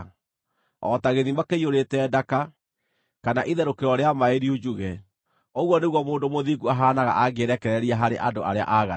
O ta gĩthima kĩiyũrĩte ndaka, kana itherũkĩro rĩa maaĩ riunjuge, ũguo nĩguo mũndũ mũthingu ahaanaga angĩĩrekereria harĩ andũ arĩa aaganu.